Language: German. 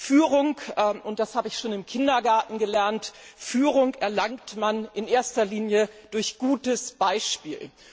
Führung und das habe ich schon im Kindergarten gelernt erlangt man in erster Linie durch gutes Beispiel.